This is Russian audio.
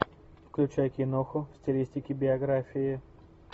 включай киноху в стилистике биографии